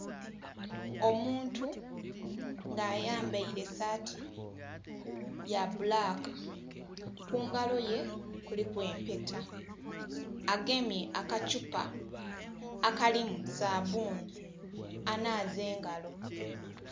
Omuntu nga ayambaire esaati ya bbulaka, kungalo ye kuliku empeta agemye akathupa akalimu sabbunhi anhaaza engalo.